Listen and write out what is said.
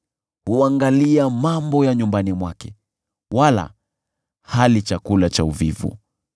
Huangalia mambo ya nyumbani mwake wala hali chakula cha uvivu.